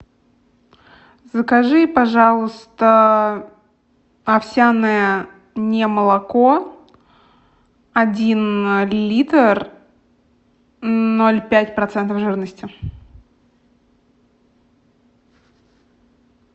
закажи пожалуйста овсяное не молоко один литр ноль пять процентов жирности